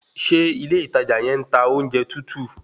Ṣé ilé ìtajà yẹn ń ta oúnjẹ tútù?